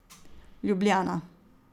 Ljubljana.